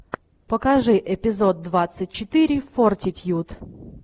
покажи эпизод двадцать четыре фортитьюд